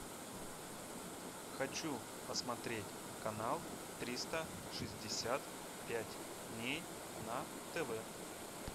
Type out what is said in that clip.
хочу посмотреть канал триста шестьдесят пять дней на тв